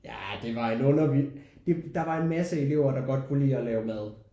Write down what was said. Jah det var en under det der var en masse elever der godt kunne lide at lave mad